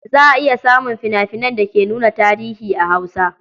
Za a iya samun fina-finan da ke nuna tarihi a Hausa.